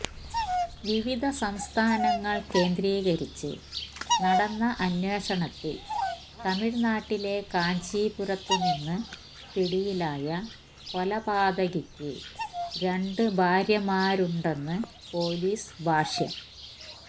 വിവിധ സംസ്ഥാനങ്ങള് കേന്ദ്രീകരിച്ച് നടന്ന അന്വേഷണത്തില് തമിഴ്നാട്ടിിെല കാഞ്ചീപുരത്ത് നിന്ന് പിടിയിലായ കൊലപാതകിക്ക് രണ്ട് ഭാര്യമാരുണ്ടെന്ന് പോലീസ് ഭാഷ്യം